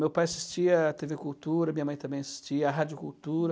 Meu pai assistia à tê vê Cultura, minha mãe também assistia à Rádio Cultura.